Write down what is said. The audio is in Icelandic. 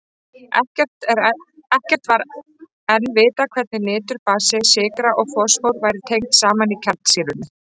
Ekkert var enn vitað hvernig niturbasi, sykra og fosfór væru tengd saman í kjarnsýrunni.